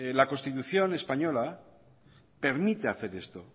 la constitución española permite hacer esto